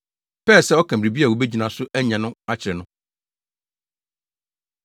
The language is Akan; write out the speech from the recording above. pɛɛ sɛ ɔka biribi a wobegyina so anya no akyere no.